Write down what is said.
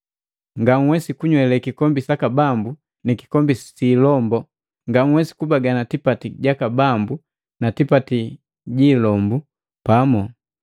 Nganhwesi kunywa kikombi saka Bambu ni kikombi si ilombu, ngauwesi kubagana tipati gaka Bambu na tipati gi ilombu pamu.